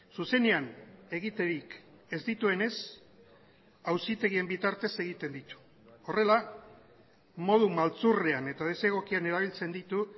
zuzenean egiterik ez dituenez auzitegien bitartez egiten ditu horrela modu maltzurrean eta desegokian erabiltzen ditu